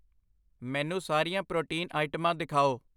ਮੈਨੂੰ ਸਾਰੀਆਂ ਪ੍ਰੋਟੀਨ ਆਈਟਮਾਂ ਦਿਖਾਓ